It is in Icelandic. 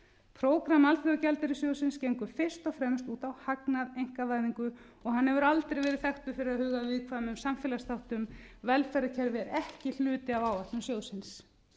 prógramm alþjóðagjaldeyrissjóðsins gengur fyrst og fremst út á hagnað einkavæðingu og hann hefur aldrei verið þekktur fyrir að huga að viðkvæmum samfélagsþáttum velferðarkerfið er ekki hluti af áætlun sjóðsins